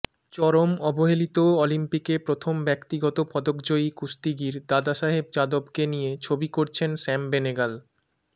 চরম অবহেলিত অলিম্পিকে প্রথম ব্যক্তিগত পদকজয়ী কুস্তিগির দাদাসাহেব যাদবকে নিয়ে ছবি করছেন শ্যাম বেনেগল